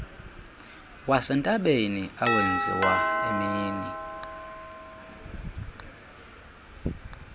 wasentabeni awenziwa emini